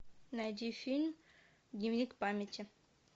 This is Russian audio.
найди фильм дневник памяти